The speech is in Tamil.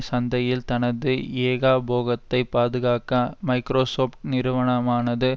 சந்தையில் தனது ஏகபோகத்தைப் பாதுகாக்க மைக்ரோசொப்ட் நிறுவனமானது